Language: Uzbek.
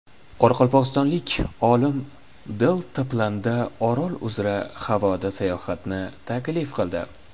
Qoraqalpog‘istonlik olim deltaplanda Orol uzra havoda sayohatni taklif qildi.